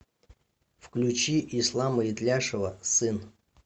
включи ислама итляшева сын